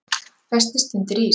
Festist undir ís